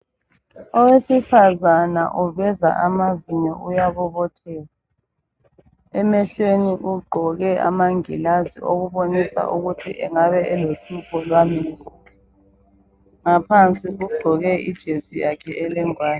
Owesifazana uveza amazinyo uyabobotheka ugqoke amangilazi olubonisa ukuthi engabe elohlupho lwamehlo ngaphansi ugqoke ijesi yakhe elengwane.